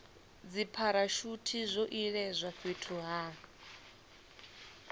dzipharashuthi zwo iledzwa fhethu ha